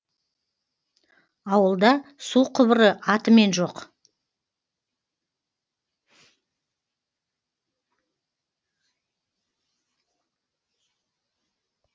ауылда су құбыры атымен жоқ